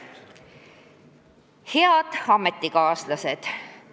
Head ametikaaslased!